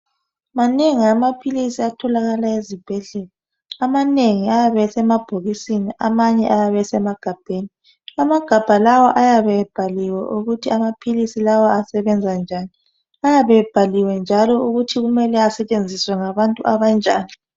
Manengi amaphilisi atholakala eZibhedlela amanengi ayabe esemabhokisi amanye emagabheni. Amagabha kawa ayabe ebhaliwe ukuthi amaphilisi lawa asebenza njani ayabe ebhaliwe njalo ukuthi mele asetshenziswe ngabantu abanjani